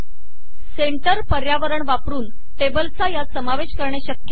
centre मध्य पर्यावरण वापरुन टेबल्सचा यात समावेश करणे शक्य आहे